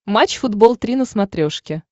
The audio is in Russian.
матч футбол три на смотрешке